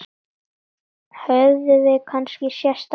Höfum við kannski sést áður?